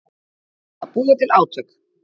Að búa til átök